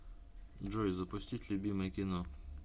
джой запустить любимое кино